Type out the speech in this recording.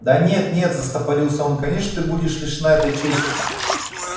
да нет нет заторопился он конечно ты не будешь лишена этой чести